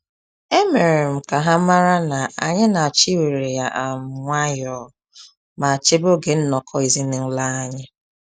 E mere um m ka ha mara na anyị na-achọ iwere ya um nwayọ ma chebe oge nnọkọ ezinaụlọ anyi um